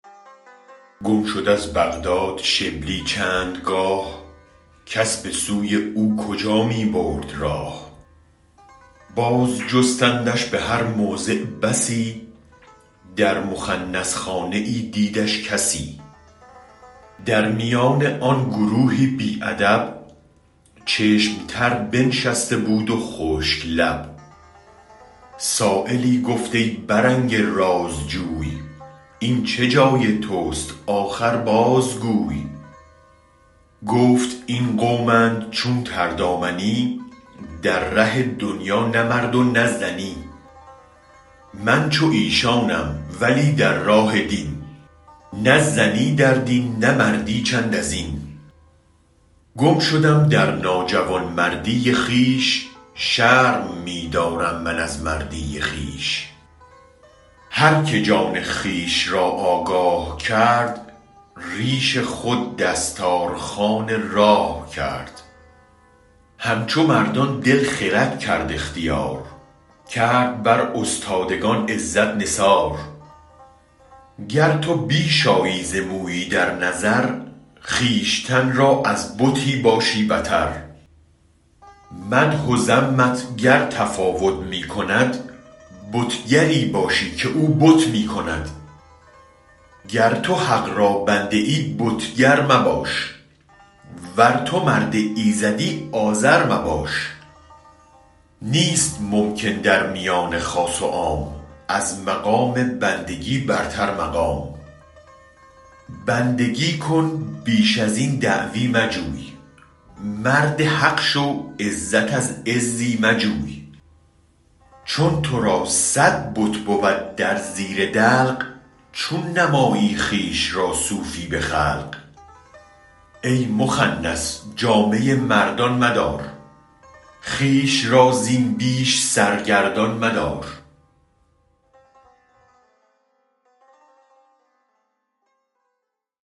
گم شد از بغداد شبلی چندگاه کس بسوی او کجا می برد راه باز جستندش به هر موضع بسی در مخنث خانه ای دیدش کسی در میان آن گروهی بی ادب چشم تر بنشسته بود و خشک لب سایلی گفت ای برنگ راز جوی این چه جای تست آخر بازگوی گفت این قومند چون تردامنی در ره دنیا نه مرد و نه زنی من چو ایشانم ولی در راه دین نه زنی در دین نه مردی چند ازین گم شدم در ناجوانمردی خویش شرم می دارم من از مردی خویش هرک جان خویش را آگاه کرد ریش خود دستارخوان راه کرد همچو مردان دل خرد کرد اختیار کرد بر استادگان عزت نثار گر تو بیش آیی ز مویی در نظر خویشتن را از بتی باشی بتر مدح و ذمت گر تفاوت می کند بتگری باشی که او بت می کند گر تو حق را بنده ای بت گر مباش ور تو مرد ایزدی آزر مباش نیست ممکن در میان خاص و عام از مقام بندگی برتر مقام بندگی کن بیش از این دعوی مجوی مرد حق شو عزت از عزی مجوی چون ترا صد بت بود در زیر دلق چون نمایی خویش را صوفی به خلق ای مخنث جامه مردان مدار خویش را زین بیش سرگردان مدار